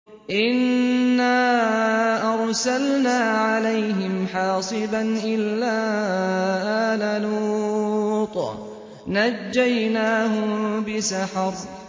إِنَّا أَرْسَلْنَا عَلَيْهِمْ حَاصِبًا إِلَّا آلَ لُوطٍ ۖ نَّجَّيْنَاهُم بِسَحَرٍ